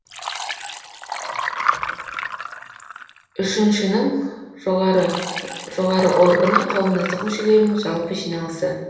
үшіншінің жоғары органы қауымдастық мүшелерінің жалпы жиналысы